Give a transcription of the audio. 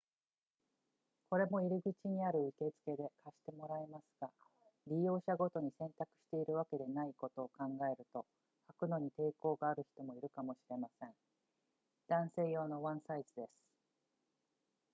これも入口にある受付で借してもらえますが利用者ごとに洗濯しているわけではないことを考えると履くのに抵抗がある人もいるかもしれません男性用のワンサイズです